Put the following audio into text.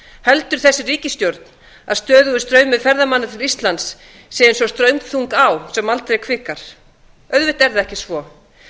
heldur þessi ríkisstjórn að stöðugur straumur ferðamanna til íslands sé eins og straumþung á sem aldrei hvikar auðvitað er það ekki svo